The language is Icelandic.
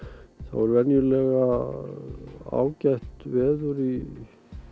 er venjulega ágætt veður í